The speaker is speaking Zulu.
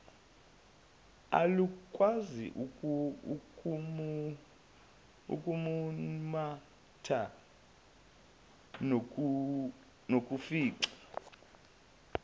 alukwazi ukumumatha nokufica